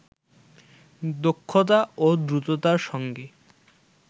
দক্ষতা ও দ্রুততার সঙ্গে